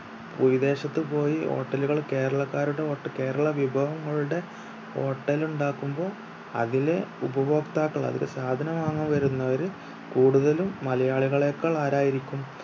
വിദേശത്ത് പോയി hotel കൾ കേരളക്കാരുടെ ഹോട്ട കേരളാ വിഭവങ്ങളുടെ hotel ഉണ്ടാക്കുമ്പോ അതിലെ ഉപഭോക്താക്കൾ അതിൽ സാധനം വാങ്ങാൻ വരുന്നവര് കൂടുതലും മലയാളികളേക്കാൾ ആരായിരിക്കും